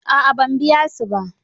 A'a ban biya su ba.